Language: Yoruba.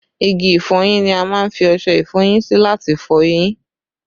Igi ìfọyín ni a má ń fi ọṣẹ ìfọyín sí láti fọ eyín